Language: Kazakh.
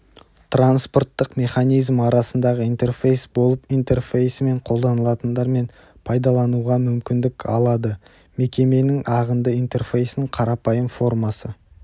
транспорттық механизм арасындағы интерфейс болып интерфейсімен қолданылатындар мен пайдалануға мүмкіндік аладымекеменің ағынды интерфейсінің қарапайым формасы